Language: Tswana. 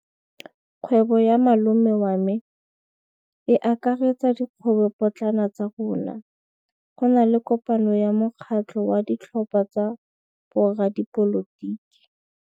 Kgwêbô ya malome wa me e akaretsa dikgwêbôpotlana tsa rona. Go na le kopanô ya mokgatlhô wa ditlhopha tsa boradipolotiki.